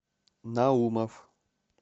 наумов